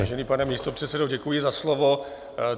Vážený pane místopředsedo, děkuji za slovo.